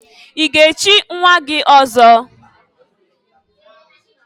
I ga echi nwa gị ọzọ?